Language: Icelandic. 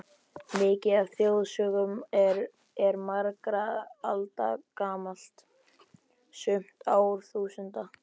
Mikið af þjóðsögum er margra alda gamalt, sumt árþúsunda.